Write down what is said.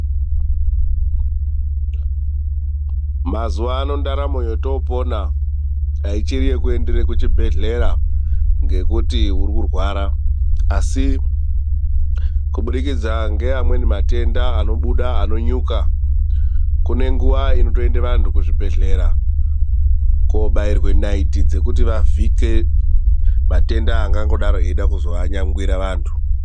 Mazuwaano ndaramo yotoopona haichiri yekuendera kuchibhedhlera ngekuti uri kurwara. Asi kubudikidza ngeamweni matenda anobuda, anonyuka, kune nguva inotoendera vantu kuzvibhedhlera koobairwe naiti dzekuti vavhike matenda angangodaro eida kuzovanyangwira vantu.